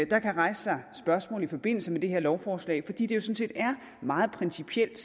der kan rejse sig spørgsmål i forbindelse med det her lovforslag fordi det set er meget principielt